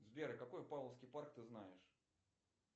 сбер какой павловский парк ты знаешь